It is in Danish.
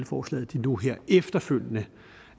forslaget nu her efterfølgende